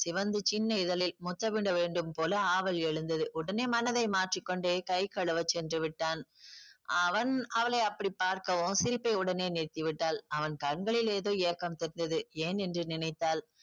சிவந்த சின்ன இதழில் முத்தமிட வேண்டும் போல ஆவல் எழுந்தது. உடனே மனதை மாற்றிக் கொண்டு கை கழுவ சென்று விட்டான். அவன் அவளை அப்படி பார்க்கவும் சிரிப்பை உடனே நிறுத்தி விட்டாள். அவன் கண்களில் ஏதோ ஏக்கம் தெரிந்தது ஏன் என்று நினைத்தாள்.